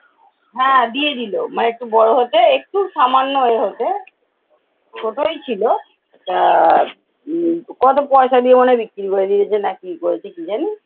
হ্যাঁ দিয়ে দিলো মানে একটু বড়ো হতে একটু সামান্য এ হতে ছোটই ছিল তা আহ উম কত পয়সা দিয়ে মনে হয় বিক্রি করে দিয়েছে না কি করে দিয়েছে কি জানি।